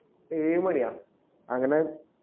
ഏഴു മണിയാ അങ്ങനെ